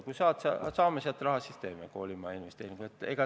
Kui saame raha, siis teeme koolimajainvesteeringu.